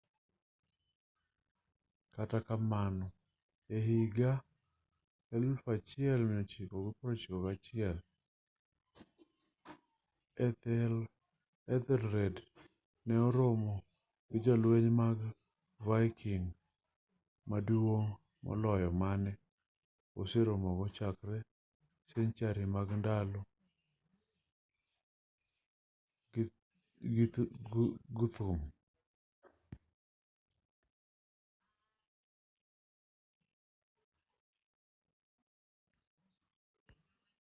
kata kamano e higa 991 ethelred ne oromo gi jolweny mag viking maduong' moloyo mane oseromogo chakre senchari mag ndalo guthrum